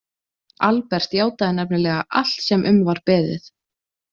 Albert játaði nefnilega allt sem um var beðið.